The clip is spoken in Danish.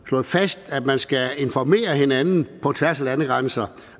slået fast at man skal informere hinanden på tværs af landegrænser